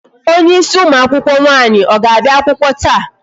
Onye ịsị ụmụ akwụkwọ nwaanyi ọ ga-abịa akwụkwọ taa?